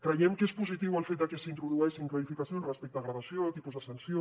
creiem que és positiu el fet de que s’introdueixin clarificacions respecte a gradació tipus de sanció